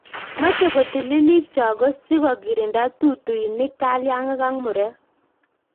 Mache kotili choge sikokirinda tutuinik, kalyang'ik ak murek